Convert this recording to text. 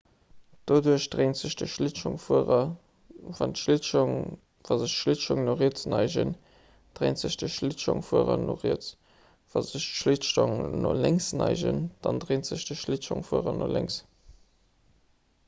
doduerch dréint sech de schliitschongfuerer wa sech d'schlittschong no riets neigen dréint sech de schlittschongfuerer no riets wa sech d'schlittschong no lénks neigen dann dréint sech de schlittschongfuerer no lénks